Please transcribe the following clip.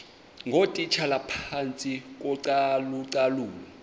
ngootitshala phantsi kocalucalulo